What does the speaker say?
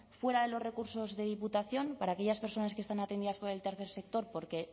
fuera de los recursos de diputación para aquellas personas que están atendidas por el tercer sector porque